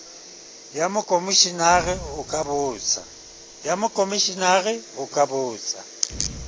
ya mokomeshenara o ka botsa